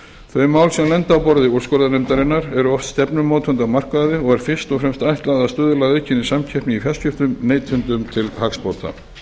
þau mál sem lenda á borði úrskurðarnefndarinnar eru oft stefnumótandi á markaði og er fyrst og fremst ætlað að stuðla að aukinni samkeppni í fjarskiptum neytendum til hagsbóta